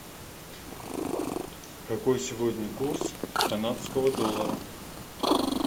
какой сегодня курс канадского доллара